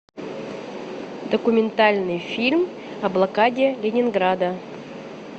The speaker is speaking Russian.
документальный фильм о блокаде ленинграда